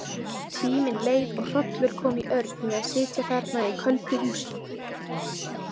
Tíminn leið og hrollur kom í Örn við að sitja þarna í köldu húsinu.